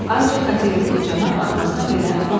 Ancaq Katelyuklu cənab arxasına belə baxmadı.